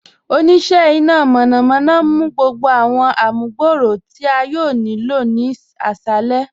Oníṣẹ̀ ìná mọ̀nàmọ̀na ǹ mú gbogbo awọn àmùgbọ̀rọ̀ tí a yòò ní ilọ̀ ní àṣalẹ̀.